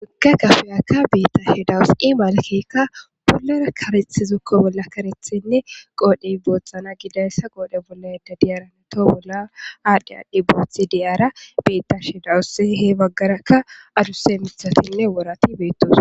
Hagga gafeyakka beetta she dawusi malkekka polara karethi zokko bolla karethenne qoodhey boothxana gidayssa qoodhe bollaada diyaarane to bolla aadhdhe aadhdhi boothi diyaara beetta she dawuss he baggarakka aduse mithatinne worati beettos.